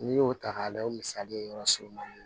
N'i y'o ta k'a layɛ o misali yɔrɔ sɔrɔ man di